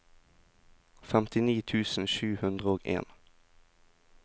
femtini tusen sju hundre og en